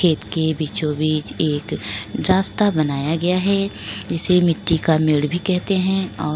खेत के बीचों बीच एक रास्ता बनाया गया है जिसे मिट्टी का मेढ़ भी कहते है और --